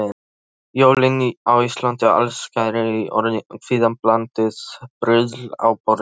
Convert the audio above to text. Jólin á Íslandi: Allsnægtir í orði, kvíðablandið bruðl á borði.